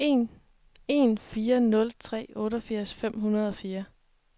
en fire nul tre otteogfirs fem hundrede og fire